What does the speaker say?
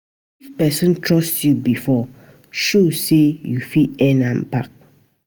If pesin trust yu bifor, show say yu fit earn am back.